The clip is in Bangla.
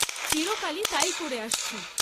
চিরকালই তাই করে আসছি।